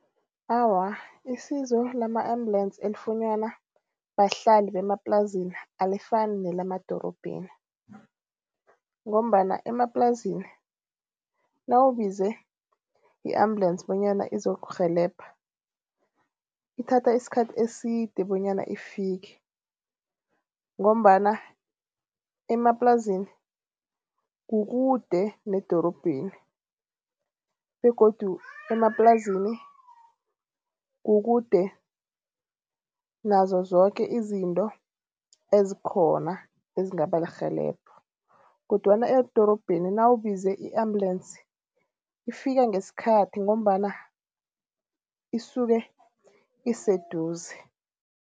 Awa, isizo lama-ambulance elifunyanwa bahlali bemaplasini alifani nelemadorobheni. Ngombana emaplasini nawubize i-ambulance bonyana izokurhelebha ithatha isikhathi eside bonyana ifike. Ngombana emaplasini kukude nedorobheni begodu emaplasini kukude nazo zoke izinto ezikhona ezingaba lirhelebha kodwana edorobheni nawubize i-ambulance ifika ngesikhathi ngombana isuke iseduze.